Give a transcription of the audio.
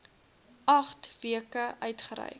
agt weke uitgereik